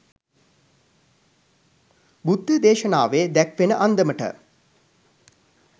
බුද්ධ දේශනාවේ දැක්වෙන අන්දමට